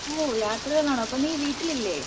ഓഹ് യാത്രയിൽ ആണോ അപ്പൊ നീ വീട്ടിൽ ഇല്ലേ